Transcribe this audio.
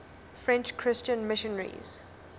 french christian missionaries